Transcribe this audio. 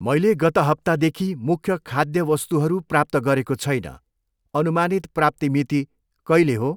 मैले गत हप्तादेखि मुख्य खाद्य वस्तुहरू प्राप्त गरेको छैन, अनुमानित प्राप्ति मिति कहिले हो?